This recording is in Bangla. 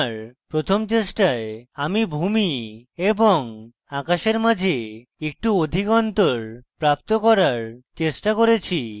আমার প্রথম চেষ্টায় আমি ভূমি এবং আকাশের মাঝে একটু অধিক অন্তর প্রাপ্ত করার চেষ্টা করেছি